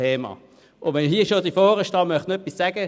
Ich möchte noch etwas zur Pensionskasse sagen.